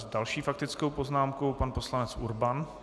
S další faktickou poznámkou pan poslanec Urban.